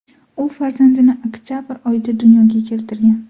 U farzandini oktabr oyida dunyoga keltirgan.